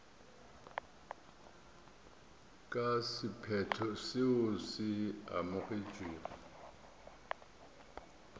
ka sephetho seo se amogetšwego